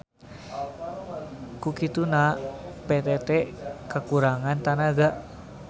Ku kituna PTT kakurangan tanaga.